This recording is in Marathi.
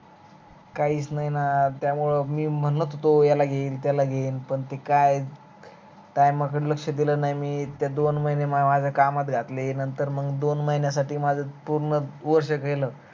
काहीच नाही न त्यामुळे मी म्हणत होतो याला घेईन त्याला घेईन पण ते काय time कड लक्ष्य दिल नाही मी ते दोन महीन कामात घातले नंतर दोन महिन्यासाठी माझ पूर्ण वर्ष गेल